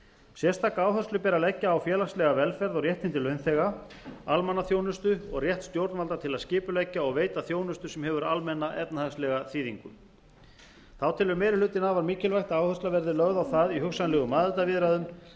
sérstaka áherslu ber að leggja á félagslega velferð og réttindi launþega almannaþjónustu og rétt stjórnvalda til að skipuleggja og veita þjónustu sem hefur almenna efnahagslega þýðingu þá telur meiri hlutinn afar mikilvægt að áhersla verði lögð á það í hugsanlegum aðildarviðræðum